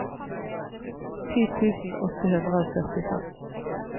ti tusen åtte hundre og førtifem